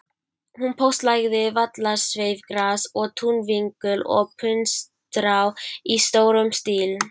Hún póstlagði vallarsveifgras og túnvingul og puntstrá í stórum stíl.